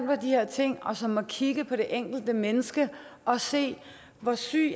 på de her ting og som må kigge på det enkelte menneske og se hvor syg